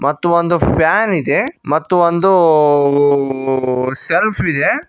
ಮತ್ತು ಒಂದು ಫ್ಯಾನ್ ಇದೆ ಮತ್ತು ಒಂದು ಶೆಲ್ಫ್ ಇದೆ.